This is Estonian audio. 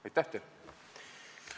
Aitäh teile!